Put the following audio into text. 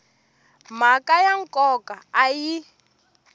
timhaka ta nkoka a yi